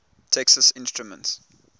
texas instruments